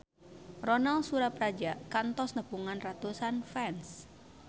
Ronal Surapradja kantos nepungan ratusan fans